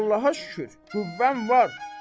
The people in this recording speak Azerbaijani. Allaha şükür, qüvvəm var.